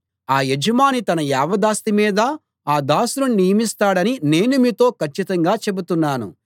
ఆ యజమాని తన యావదాస్తి మీదా ఆ దాసుని నియమిస్తాడని నేను మీతో కచ్చితంగా చెబుతున్నాను